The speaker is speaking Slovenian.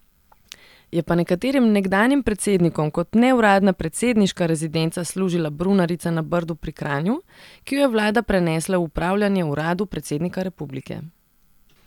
Je pa nekaterim nekdanjim predsednikom kot neuradna predsedniška rezidenca služila brunarica na Brdu pri Kranju, ki jo je vlada prenesla v upravljanje uradu predsednika republike.